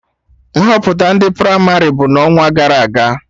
Nhọpụta ndị pramarị bụ n'ọnwagara aga